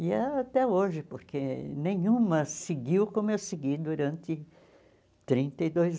E é até hoje, porque nenhuma seguiu como eu segui durante trinta e dois